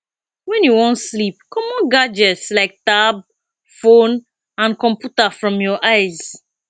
when you wan sleep comot gadgets like tab phone and computer from your eyes